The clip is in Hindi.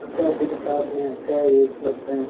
और कौपी के साथ में यहाँ चाय भी उपलब्ध है |